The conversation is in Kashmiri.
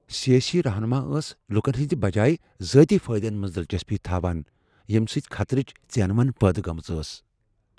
سیاسی رہنما ٲسہِ لٗكن ہنزِ بجٲیی ذاتی فایدس منز دِلچسپی تھوان ، ییمہِ سۭتۍ خطرٕچ ژینونہِ پٲدٕ گٲمژ ٲس ۔